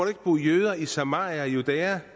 ikke bo jøder i samaria og judæa